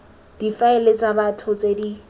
difaele tsa batho tse di